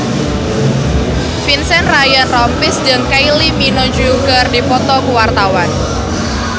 Vincent Ryan Rompies jeung Kylie Minogue keur dipoto ku wartawan